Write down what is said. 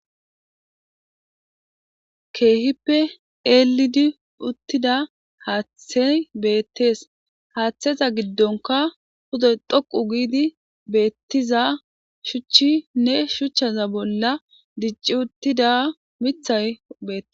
keehippe eelidi uttida haaththey beettees haaththeza giddonka hudoy dhoqu giidi beettiza shuchchinne shuchchaza bolla dicci uttida mithay bee